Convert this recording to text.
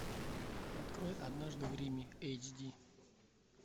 открой однажды в риме эйч ди